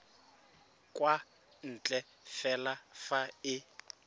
kwa ntle fela fa e